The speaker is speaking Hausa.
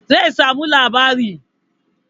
Zai samu labari